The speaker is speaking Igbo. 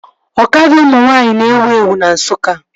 Ọkada ụmụ nwaanyị na-ewu ewu na Nsukka